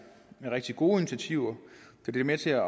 rigtig gode initiativer da de er med til at